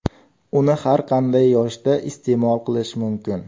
Uni har qanday yoshda iste’mol qilish mumkin.